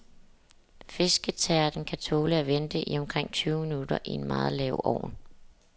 Fisketærten kan tåle at vente i omkring tyve minutter i en meget lav ovn.